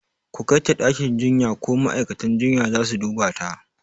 ku Kaita ɗakin jinya ko ma'aikatan jinya zasu dubata